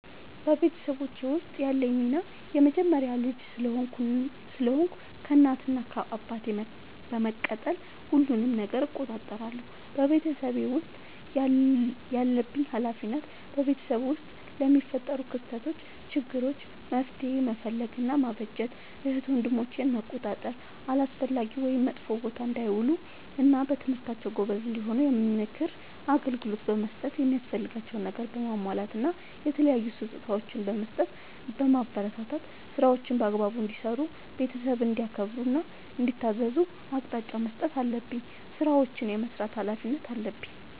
በቤተሰቦቼ ውስጥ ያለኝ ሚና የመጀመሪያ ልጅ ስለሆንኩ ከእናት እና አባቴ በመቀጠል ሁሉንም ነገር እቆጣጠራለሁ። በቤተሰቤ ውስጥ ያለብኝ ኃላፊነት በቤተሰብ ውስጥ ለሚፈጠሩ ክስተቶች ÷ችግሮች መፍትሄ መፈለግ እና ማበጀት ÷ እህት ወንድሞቼን መቆጣጠር አላስፈላጊ ወይም መጥፎ ቦታ እንዳይውሉ እና በትምህርታቸው ጎበዝ እንዲሆኑ የምክር አገልግሎት በመስጠት የሚያስፈልጋቸውን ነገር በማሟላት እና የተለያዩ ስጦታዎችን በመስጠትና በማበረታታት ÷ ስራዎችን በአግባቡ እንዲሰሩ ÷ ቤተሰብን እንዲያከብሩ እና እንዲታዘዙ አቅጣጫ መስጠት አለብኝ። ስራዎችን የመስራት ኃላፊነት አለብኝ።